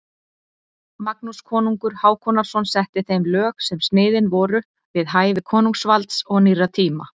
Magnús konungur Hákonarson setti þeim lög sem sniðin voru við hæfi konungsvalds og nýrra tíma.